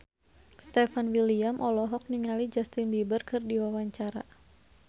Stefan William olohok ningali Justin Beiber keur diwawancara